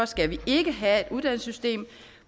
skal vi ikke have et uddannelsessystem